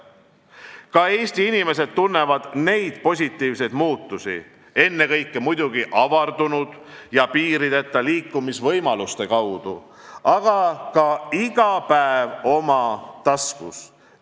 Ka Eesti inimesed tunnevad neid positiivseid muutusi, ennekõike muidugi avardunud ja piirideta liikumisvõimaluste kaudu, aga ka iga päev oma taskus.